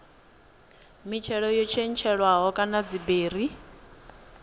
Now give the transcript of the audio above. mitshelo yo tshetshelelwaho kana dziberi